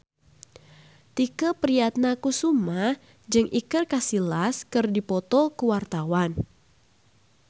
Tike Priatnakusuma jeung Iker Casillas keur dipoto ku wartawan